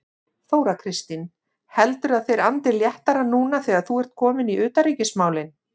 Þóra Kristín: Heldurðu að þeir andi léttara núna þegar þú ert kominn í utanríkismálin?